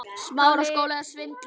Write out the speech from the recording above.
Elsku Didda frænka mín.